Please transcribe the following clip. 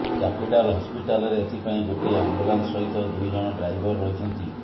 capital ହସ୍ପିଟାଲରେ ଏଥିପାଇଁ ଗୋଟିଏ ଆମ୍ବୁଲାନ୍ସ ସହିତ ଦୁଇଜଣ ଡ୍ରାଇଭର ରହିଛନ୍ତି